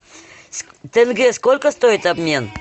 тенге сколько стоит обмен